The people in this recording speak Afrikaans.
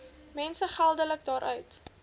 mense geldelik daaruit